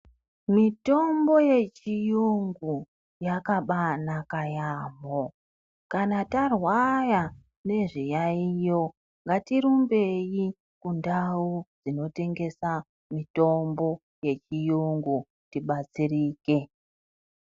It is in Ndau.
Mitombo yechiyungu yakabaanaka yaamho kana tarwaya nezviyaiyo ngatirumbei kundau dzinotengesa mutombo yechiyungu tibatsirike.